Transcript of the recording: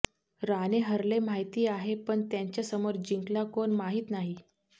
राणे हरले माहिती आहे पण त्यांच्या समोर जिंकला कोण माहीत नाही